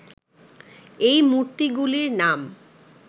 এই মূর্তিগুলির নাম